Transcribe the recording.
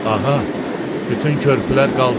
Ağa, bütün körpülər qaldırılıb.